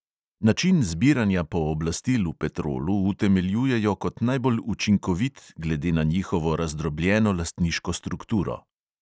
Način zbiranja pooblastil v petrolu utemeljujejo kot najbolj učinkovit glede na njihovo razdrobljeno lastniško strukturo.